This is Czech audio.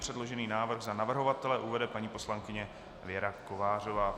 Předložený návrh za navrhovatele uvede paní poslankyně Věra Kovářová.